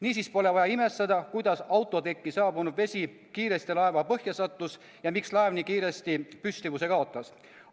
Niisiis pole vaja imestada, kuidas autotekile saabunud vesi kiiresti laeva põhja sattus ja miks laev nii kiiresti püstivuse kaotas.